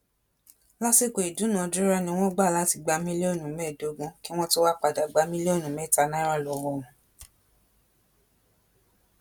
lásìkò ìdúnàádúrà ni wọn gbà láti gba mílíọnù mẹẹẹdógún kí wọn tóó wáá padà gba mílíọnù mẹta náírà lọwọ wọn